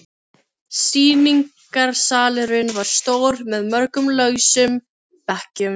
Sýningarsalurinn var stór með mörgum lausum bekkjum.